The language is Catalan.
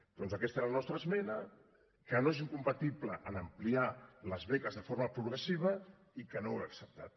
doncs aquesta era la nostra esmena que no és incompatible amb ampliar les beques de forma progressiva i que no heu acceptat